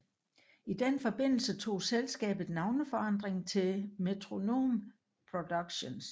I den forbindelse tog selskabet navneforandring til Metronome Productions